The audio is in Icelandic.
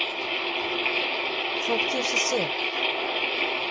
Þótt ég sé sek.